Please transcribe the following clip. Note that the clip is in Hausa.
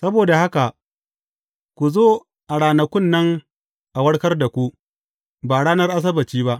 Saboda haka, ku zo a ranakun nan a warkar da ku, ba ranar Asabbaci ba.